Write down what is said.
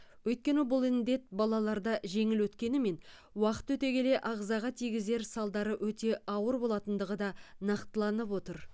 өйткені бұл індет балаларда жеңіл өткенімен уақыт өте келе ағзаға тигізер салдары өте ауыр болатындығы да нақтыланып отыр